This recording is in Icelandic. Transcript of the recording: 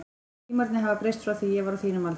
Tímarnir hafa breyst frá því ég var á þínum aldri.